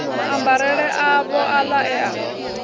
maambarele avho aḽa e a